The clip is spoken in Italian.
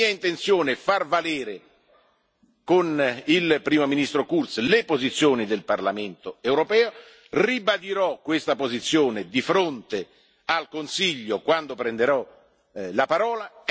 È mia intenzione far valere con il Primo ministro Kurz le posizioni del Parlamento europeo e ribadirò questa posizione di fronte al Consiglio quando prenderò la parola.